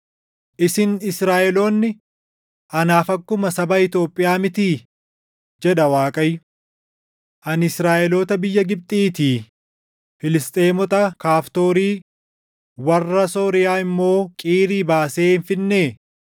“Isin Israaʼeloonni anaaf akkuma saba Itoophiyaa mitii?” jedha Waaqayyo. “Ani Israaʼeloota biyya Gibxiitii, Filisxeemota Kaftoorii, warra Sooriyaa immoo Qiirii baasee hin fidnee?